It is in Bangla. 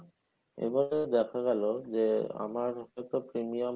এভাবে দেখা গেলো আমার হয়তো premium